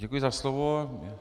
Děkuji za slovo.